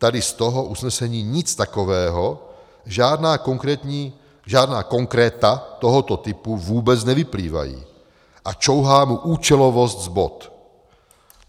Tady z toho usnesení nic takového, žádná konkréta tohoto typu vůbec nevyplývají a čouhá mu účelovost z bot.